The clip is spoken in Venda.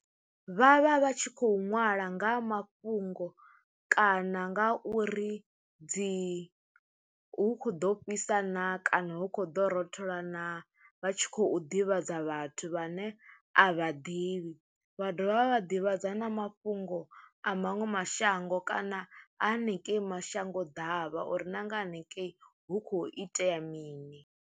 Vhavha vha tshi khou ṅwala nga mafhungo kana nga uri dzi hu kho ḓo fhisa na kana hu kho ḓo rothola naa vha tshi khou ḓivhadza vhathu vhane a vha ḓivhi, vha dovha vha vha ḓivhadzana mafhungo a maṅwe mashango kana a hanengei mashango ḓavha uri na nga hanengei hu khou itea mini.